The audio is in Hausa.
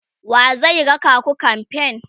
wa zai raka ku kamfen?